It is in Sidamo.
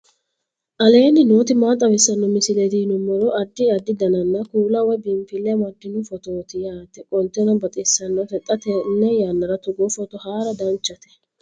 aleenni nooti maa xawisanno misileeti yinummoro addi addi dananna kuula woy biinfille amaddino footooti yaate qoltenno baxissannote xa tenne yannanni togoo footo haara danchate